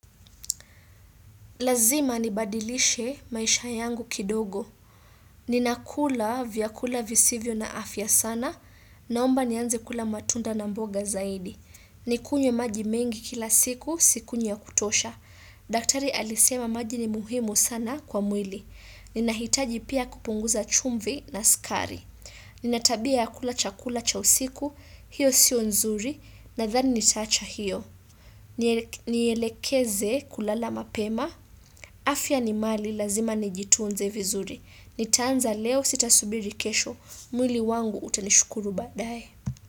Lazima nibadilishe maisha yangu kidogo. Ninakula vyakula visivyo na afya sana, naomba nianze kula matunda na mboga zaidi. Nikunywe maji mengi, kila siku sikunywi ya kutosha. Daktari alisema maji ni muhimu sana kwa mwili. Ninahitaji pia kupunguza chumvi na sukari. Nina tabia ya kula chakula cha usiku, hiyo sio nzuri, nadhani nitaacha hiyo. Nielekeze kulala mapema afya ni mali lazima nijitunze vizuri nitaanza leo sitasubiri kesho mwili wangu utanishukuru baadae.